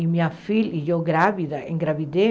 E minha filha, e eu grávida, engravidei.